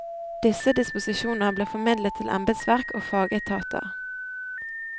Disse disposisjoner ble formidlet til embedsverk og fagetater.